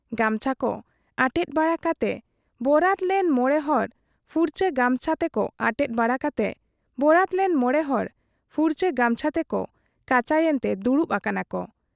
ᱜᱟᱢᱪᱷᱟ ᱠᱚ ᱟᱴᱮᱫ ᱵᱟᱲᱟ ᱠᱟᱛᱮ ᱵᱯᱨᱟᱛ ᱞᱮᱱ ᱢᱚᱬᱮ ᱦᱚᱲ ᱯᱷᱩᱨᱪᱟᱹ ᱜᱟᱢᱪᱷᱟ ᱛᱮᱠᱚ ᱟᱴᱮᱫ ᱵᱟᱲᱟ ᱠᱟᱛᱮ ᱵᱚᱨᱟᱛ ᱞᱮᱱ ᱢᱚᱬᱮ ᱦᱚᱲ ᱯᱷᱩᱨᱪᱟᱹ ᱜᱟᱢᱪᱷᱟ ᱛᱮᱠᱚ ᱠᱟᱪᱟᱭᱮᱱᱛᱮ ᱫᱩᱲᱩᱵ ᱟᱠᱟᱱᱟ ᱠᱚ ᱾